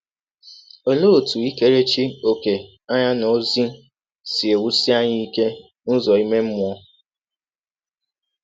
Ọlee ọtụ ikerechi ọ̀kè anya n’ọzi si ewụsi anyị ike n’ụzọ ime mmụọ?